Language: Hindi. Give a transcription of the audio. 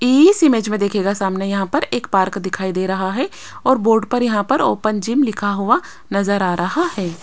इस इमेज मे देखिएगा सामने यहां पर एक पार्क दिखाई दे रहा है और बोर्ड पर यहां पर ओपन जिम लिखा हुआ नजर आ रहा है।